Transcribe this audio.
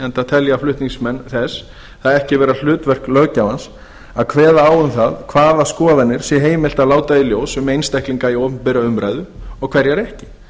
enda telja flutningsmenn þess það ekki vera hlutverk löggjafans að kveða á um hvaða skoðanir sé heimilt að láta í ljós um einstaklinga í opinberri umræðu og hverjar ekki